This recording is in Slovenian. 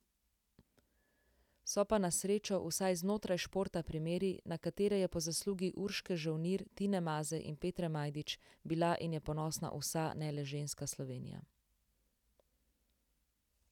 So pa na srečo vsaj znotraj športa primeri, na katere je po zaslugi Urške Žolnir, Tine Maze in Petre Majdič bila in je ponosna vsa, ne le ženska Slovenija.